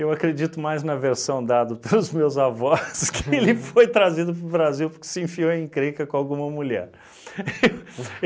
Eu acredito mais na versão dado pelos meus avós que ele foi trazido para o Brasil porque se enfiou em encrenca com alguma mulher.